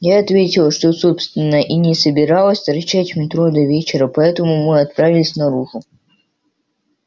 я ответила что собственно и не собиралась торчать в метро до вечера поэтому мы отправились наружу